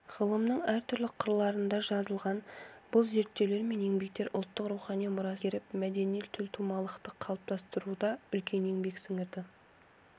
ғылымның әртүрлі қырларынан жазылған бұл зерттеулер мен еңбектер ұлттың рухани мұрасын игеріп мәдени төлтумалылықты қалыптастыруда үлкен еңбек сіңірді